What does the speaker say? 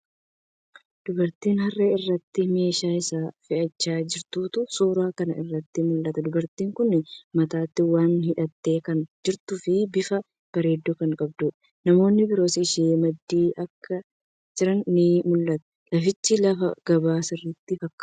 Dubartii harree irratti meeshaa ishee fe'achaa jirtutu suuraa kana irratti mul'ata. Dubartiin kuni matatti waa hidhattee kan jirtuu fi bifa bareedduu kan qabduudha. Namoonni biroos ishee maddii akka jiran ni mul'ata. Lafichi lafa gabaa sirritti fakkaata.